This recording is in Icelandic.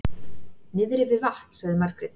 Niðri við vatn, sagði Margrét.